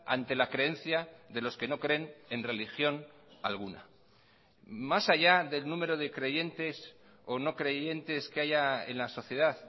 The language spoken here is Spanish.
ante la creencia de los que no creen en religión alguna más allá del número de creyentes o no creyentes que haya en la sociedad